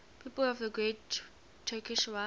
people of the great turkish war